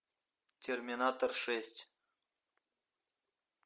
терминатор шесть